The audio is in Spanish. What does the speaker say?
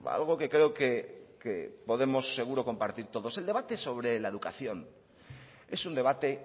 algo que creo que podemos seguro compartir todos el debate sobre la educación es un debate